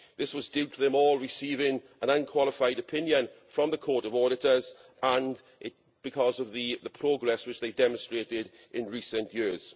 This was due to them all receiving an unqualified opinion from the Court of Auditors and because of the progress which they demonstrated in recent years.